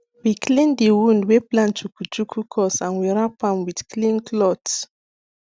we clean the wound wey plant chuku chuku cause and we wrapam with clean cloth